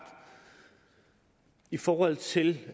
i forhold til